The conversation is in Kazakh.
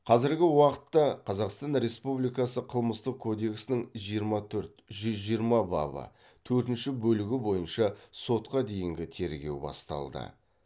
қазіргі уақытта қазақстан республикасы қылмыстық кодексінің жиырма төрт жүз жиырма бабы төртінші бөлігі бойынша сотқа дейінгі тергеу басталды